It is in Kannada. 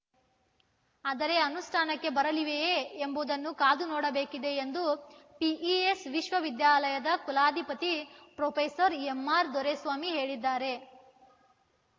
ಆದರೆ ಅನುಷ್ಠಾನಕ್ಕೆ ಬರಲಿವೆಯೇ ಎಂಬುದನ್ನು ಕಾದು ನೋಡಬೇಕಿದೆ ಎಂದು ಪಿಇಎಸ್‌ ವಿಶ್ವವಿದ್ಯಾಲಯದ ಕುಲಾಧಿಪತಿ ಪ್ರೊಫೆಸರ್ ಎಂಆರ್‌ ದೊರೆಸ್ವಾಮಿ ಹೇಳಿದ್ದಾರೆ